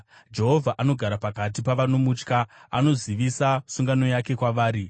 Jehovha anogara pakati pavanomutya; anozivisa sungano yake kwavari.